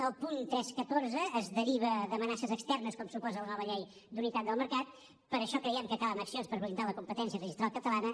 el punt tres cents i catorze es deriva d’amenaces externes com suposa la nova llei d’unitat del mercat per això creiem que calen accions per blindar la competència registral catalana